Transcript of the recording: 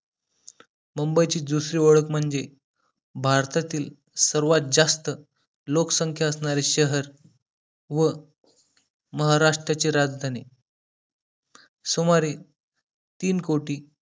मुंबई ची दुसरी ओळख म्हणजे भारतातील सर्वात जास्त लोकसंख्या असणारे शहर व महाराष्ट्राची राजधानी सुमारे तीन कोटी